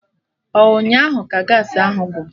Ọ ụnyaahụ ka Gaasị ahụ gwụrụ?